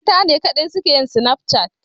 Matane kaɗai suke yin Snapchat?